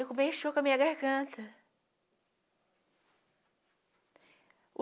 E aquilo mexeu com a minha garganta